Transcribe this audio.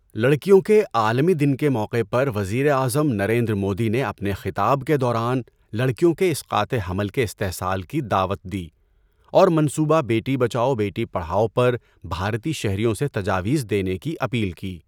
لڑکیوں کے عالمی دن کے موقع پر وزیر اعظم نریندر مودی نے اپنے خطاب کے دوران لڑکیوں کے اسقاط حمل کے استئصال کی دعوت دی اور منصوبہ بیٹی بچاؤ، بیٹی پڑھاؤ پر بھارتی شہریوں سے تجاویز دینے کی اپیل کی۔